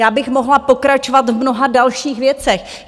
Já bych mohla pokračovat v mnoha dalších věcech.